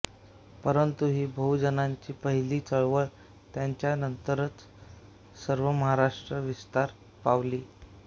परंतु ही बहुजनांची पहीली चळवळ त्यांच्या नंतरच सर्व महाराष्ट्रात विस्तार पावली